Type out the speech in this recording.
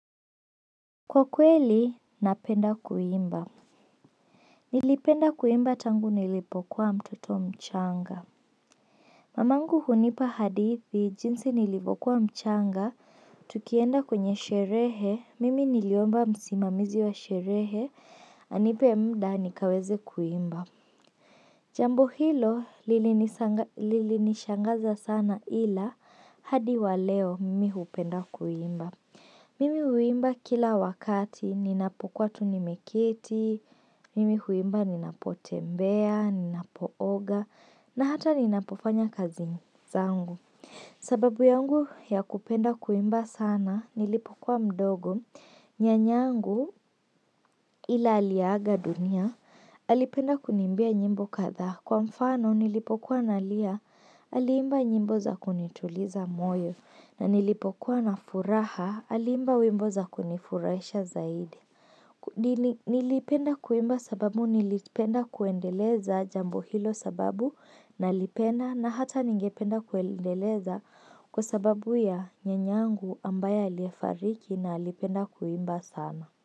Kwa kweli, ninapenda kuimba. Nilipenda kuimba tangu nilipokuwa mtoto mchanga. Mama yangu hunipa hadithi, jinsi nilipokuwa mchanga, tukienda kwenye sherehe, mimi niliomba msimamizi wa sherehe, anipe muda nikaweze kuimba. Jambo hilo, lili nishangaza sana ila, hadi wa leo, mimi hupenda kuimba. Mimi huimba kila wakati, ninapokuwa tunimeketi, mimi huimba ninapotembea, ninapooga, na hata ninapofanya kazi zangu. Sababu yangu ya kupenda kuimba sana, nilipokuwa mdogo, nyanya yangu ila aliaga dunia, alipenda kuniimbia nyimbo kadhaa. Kwa mfano nilipokuwa na lia aliimba nyimbo za kunituliza moyo na nilipokuwa na furaha aliimba wimbo za kunifurahisha zaidi. Nilipenda kuimba sababu nilipenda kuendeleza jambo hilo sababu na lipenda na hata ningependa kuendeleza kwa sababu ya nyanya yangu ambaye aliyefariki na alipenda kuimba sana.